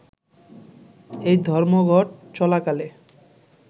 এই ধর্মঘট চলাকালে